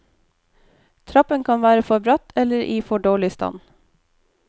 Trappen kan være for bratt eller i for dårlig stand.